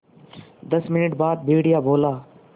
दस मिनट बाद भेड़िया बोला